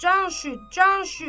Can şüd, can şüd.